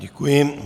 Děkuji.